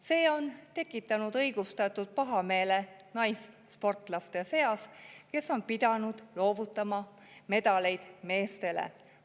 See on tekitanud õigustatud pahameele naissportlaste seas, kes on pidanud loovutama medaleid meestele.